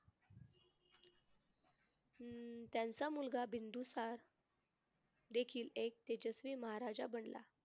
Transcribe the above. अं त्यांचा मुलगा बिंदुसार देखील एक तेजस्वी महाराजा बनला.